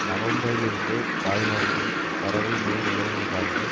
நவம்பரிலிருந்தே தாய்லாந்தில் பறவை நோய் நிலவுவதாக